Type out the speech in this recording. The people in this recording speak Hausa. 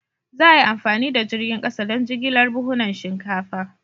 Za a yi amfani da jirgin kasa don jigilar buhunan shinkafa.